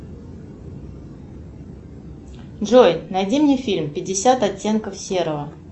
джой найди мне фильм пятьдесят оттенков серого